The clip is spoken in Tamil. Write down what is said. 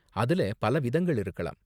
அதுல பல விதங்கள் இருக்கலாம்.